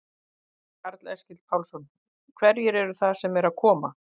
Karl Eskil Pálsson: Hverjir eru það sem eru að koma?